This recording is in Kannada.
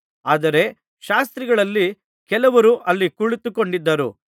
ಆದರೆ ಶಾಸ್ತ್ರಿಗಳಲ್ಲಿ ಕೆಲವರು ಅಲ್ಲಿ ಕುಳಿತುಕೊಂಡಿದ್ದು